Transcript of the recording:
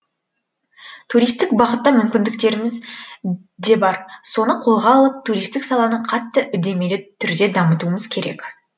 туристік бағытта мүмкіндіктеріміз де бар соны қолға алып туристік саланы қатты үдемелі түрде дамытуымыз керек